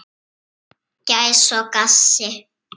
Gæs og gassi.